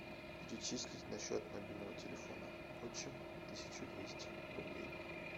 перечислить на счет мобильного телефона отчим тысячу двести рублей